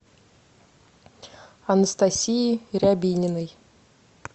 анастасии рябининой